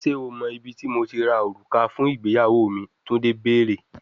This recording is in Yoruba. Ṣe o mọ ibiti Mo ti ra oruka mi fun igbeyawo mi, Tunde beere